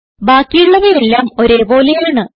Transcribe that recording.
ബാക്കിയുള്ളവയെല്ലാം ഒരേ പോലെയാണ്